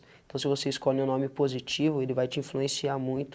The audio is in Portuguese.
Então, se você escolhe um nome positivo, ele vai te influenciar muito